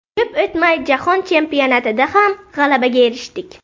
Ko‘p o‘tmay, jahon chempionatida ham g‘alabaga erishdik.